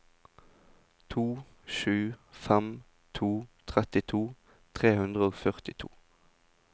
to sju fem to trettito tre hundre og førtito